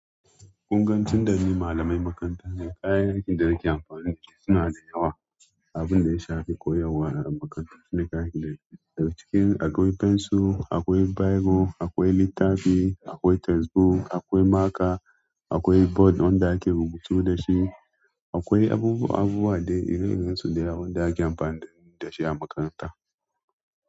Ƙunga tunda ni malamai makaranta ne, kayan aikin da nake amfani da su suna da yawa. Abin da ya shafi koyarwa a makarantu shine kayan da daga cikin akwai fensir, akwai biro, akwai littafi, akwai textbook, akwai maker, akwai board don da ake rubutu da shi, akwai abubuwa abu a dai ire-iren su ne da ake amfani da su a makaranta.